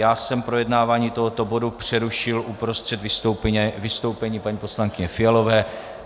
Já jsem projednávání tohoto bodu přerušil uprostřed vystoupení paní poslankyně Fialové.